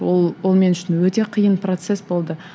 ол ол мен үшін өте қиын процесс болды